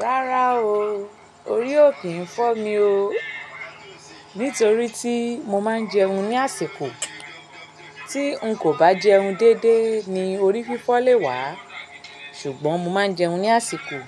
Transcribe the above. Rárá o, orí ò kí ń fọ́ mi o. Nítorí tí mo máa ń jẹun ní àsìkò. Tí n kò bá jẹun déédéé ni orí fífọ́ lè wá. Ṣùgbọ́n mo máa ń jẹun ní àsìkò,